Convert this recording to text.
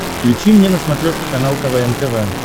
включи мне на смотрешке канал квн тв